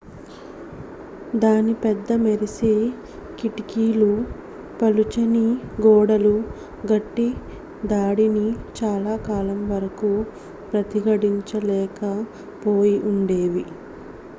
దాని పెద్ద మెరిసే కిటికీలు పలుచని గోడలు గట్టి దాడిని చాలా కాలం వరకు ప్రతిఘటించలేక పోయి ఉండేవి